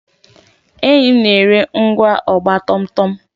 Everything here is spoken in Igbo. Enyi m na-ere ngwá ọgba tum tum